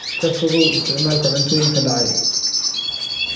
Ka fogow isticmaalka cuntooyinka dhacay.